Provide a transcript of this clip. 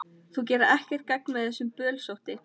Þú gerir ekkert gagn með þessu bölsóti,